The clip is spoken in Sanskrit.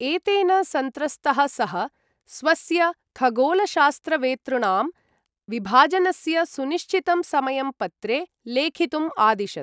एतेन सन्त्रस्तः सः, स्वस्य खगोलशास्त्रवेतृॄणां, विभाजनस्य सुनिश्चितं समयं पत्रे लेखितुम् आदिशत्।